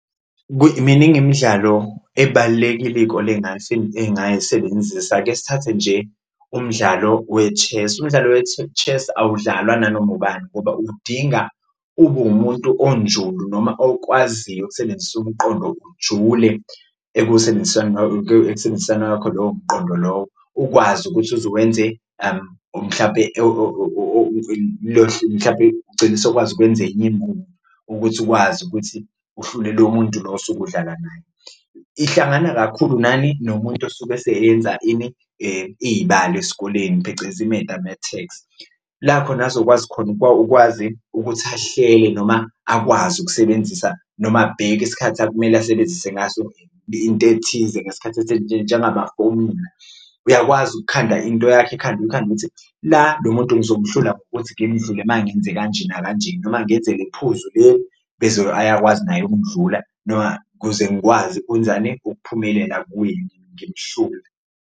Miningi imidlalo ebalulekile iy'kole engayisebenzisa, ake sithathe nje umdlalo we-chess. Umdlalo chess awudlalwa nanoma ubani ngoba udinga ube wumuntu onjulo noma okwaziyo ukusebenzisa umqondo ujule ekusebenziseni ekusebenziseni kwakho loyo mqondo lowo. Ukwazi ukuthi uze uwenze or mhlampe mhlampe ugcine sewukwazi ukwenza ugcina isukwazi ukuthi uhlule lo muntu lo osuke udlala naye, ihlangana kakhulu nani? Nomuntu osuke eseyenza ini? Iy'balo esikoleni phecelezi i-mathematics. La khona azokwazi khona akwazi ukuthi ahlele noma akwazi ukusebenzisa noma abheke isikhathi akumele asebenzise ngaso into ethize ngesikhathi njengamafomula. Uyakwazi ukukhanda into yakho ekhanda ukhande ukuthi la lo muntu ngizomuhlula ngokuthi ngimuvule uma ngenze kanje nakanje noma ngenze le phuzu lo ayakwazi naye ukundlula noma ukuze ngikwazi ukwenzani, ukuphumelela ngiwine, ngimhlule.